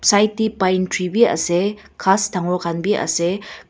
right tae pine tree vi ase ghas dangor vi ase.